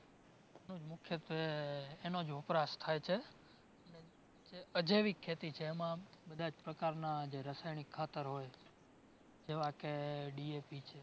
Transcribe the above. મુખ્યત્વે એનો જ વપરાશ થાય છે. અજૈવિક ખેતી છે એમાં બધાં જ પ્રકારના જે રાસાયણિક ખાતર હોય જેવા કે DAP છે